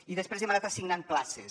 i després hem anat assignant places